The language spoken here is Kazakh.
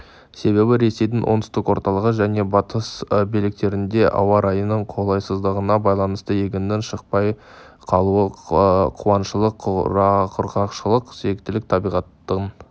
себебі ресейдің оңтүстік орталық және батыс бөліктерінде ауа-райының қолайсыздығына байланысты егіннің шықпай қалуы қуаңшылық құрғақшылық секілді табиғаттың